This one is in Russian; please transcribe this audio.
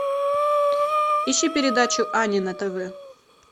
ищи передачу ани на тв